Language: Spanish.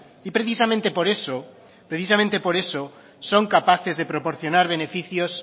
y precisamente por eso precisamente por eso son capaces de proporcionar beneficios